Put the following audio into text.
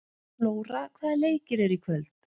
Flóra, hvaða leikir eru í kvöld?